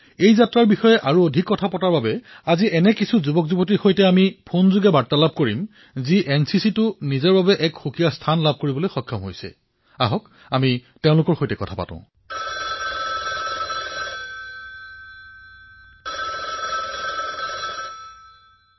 এই যাত্ৰাৰ বিষয়ে অধিক কথা কোৱাৰ বাবে আজি এনচিচিত নিজৰ স্থান নিৰ্ধাৰণ কৰা কিছু তৰুণৰ সৈতে ফোনত কথা পাতো আহক